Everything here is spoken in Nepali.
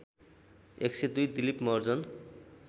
१०२ दिलिप महर्जन